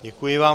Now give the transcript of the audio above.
Děkuji vám.